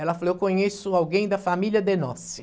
Ela falou, eu conheço alguém da família de Noce.